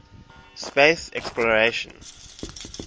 space exploration